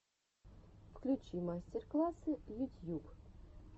включи мастер классы ютьюб